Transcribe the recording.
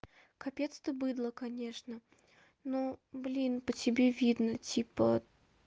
капец ты быдла конечно но блин по тебе видно типа